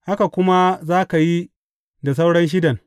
Haka kuma za ka yi da sauran shidan.